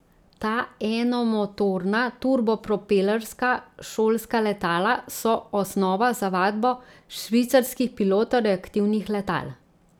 Ta enomotorna turbopropelerska šolska letala so osnova za vadbo švicarskih pilotov reaktivnih letal.